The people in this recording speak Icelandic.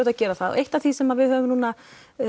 að gera það eitt af því sem við höfum núna